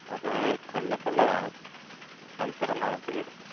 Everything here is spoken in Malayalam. അത് കൊല്ലത്തൊള്ളതാണ്. ഷൻസറെന്നാണ് പേര്.